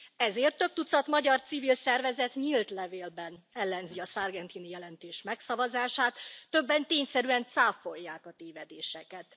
Ezért több tucat magyar civil szervezet nyílt levélben ellenzi a Sargentini jelentés megszavazását, többen tényszerűen cáfolják a tévedéseket.